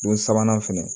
Don sabanan fana